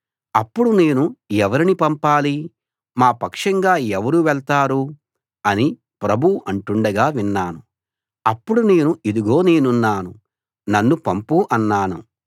అప్పుడు నేను ఎవరిని పంపాలి మా పక్షంగా ఎవరు వెళ్తారు అని ప్రభువు అంటుండగా విన్నాను అప్పుడు నేను ఇదుగో నేనున్నాను నన్ను పంపు అన్నాను